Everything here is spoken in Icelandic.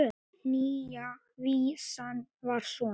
Nýja vísan var svona: